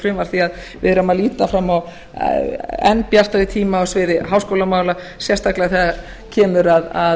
því við erum að líta fram á enn bjartari tíma á sviði háskólamála sérstaklega þegar kemur að